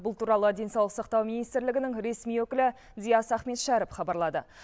бұл туралы денсаулық сақтау министрлігінің ресми өкілі диас ахметшәріп хабарлады